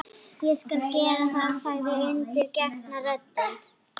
Ég skal gera það, sagði undirgefna röddin.